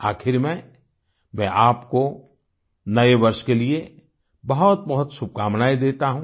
आखिर में मैं आपको नए वर्ष के लिए बहुतबहुत शुभकामनाएं देता हूं